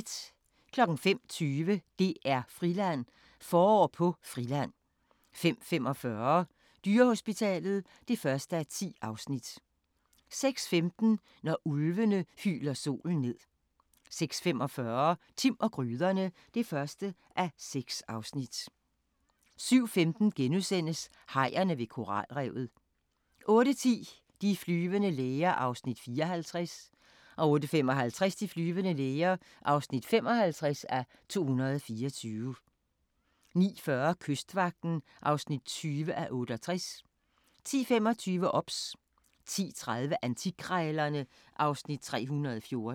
05:20: DR-Friland: Forår på Friland 05:45: Dyrehospitalet (1:10) 06:15: Når ulvene hyler solen ned 06:45: Timm og gryderne (1:6) 07:15: Hajerne ved koralrevet * 08:10: De flyvende læger (54:224) 08:55: De flyvende læger (55:224) 09:40: Kystvagten (20:68) 10:25: OBS 10:30: Antikkrejlerne (Afs. 314)